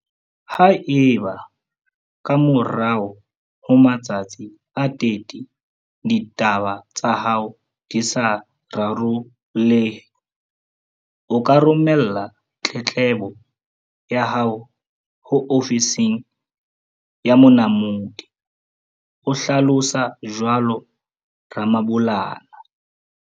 Haeba, ka morao ho matsatsi a 30, ditaba tsa hao di sa rarollehe, o ka romella tletlebo ya hao ho ofising ya Monamodi o hlalosa jwalo Ramabulana.